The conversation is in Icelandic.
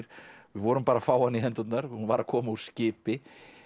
við vorum bara að fá hana í hendurnar hún var að koma úr skipi